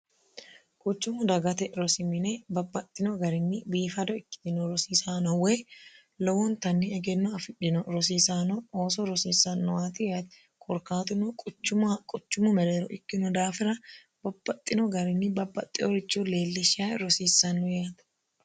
quchumu dagate rosimine babbaxxino garinni biifado ikkitino rosiisaanowoy lowontanni egenno afidhino rosiisaano ooso rosiissanno waati yate korkaatuno quchumoha quchummu mereero ikkino daafira babbaxxino garinni babbaxxeorichu leellishsha rosiissanno yeate